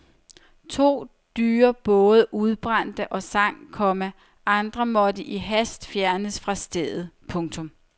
To dyre både udbrændte og sank, komma andre måtte i hast fjernes fra stedet. punktum